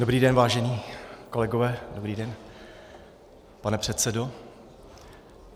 Dobrý den, vážení kolegové, dobrý den, pane předsedo.